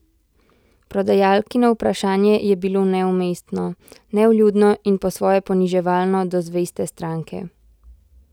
Prodajalkino vprašanje je bilo neumestno, nevljudno in po svoje poniževalno do zveste stranke.